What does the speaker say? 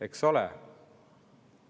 Eks ole!